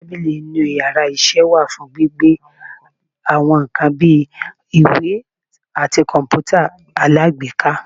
tábilí tí inú íyarà iṣẹ wa fún gbíbe awọn nkán bi, ìwè atí kọǹpútà alágbèéká.